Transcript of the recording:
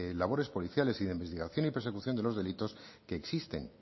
labores policiales y de investigación y persecución de los delitos que existen